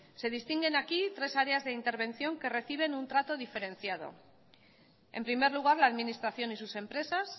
se distinguen aquí tres áreas de intervención que reciben un trato diferenciado en primer lugar la administración y sus empresas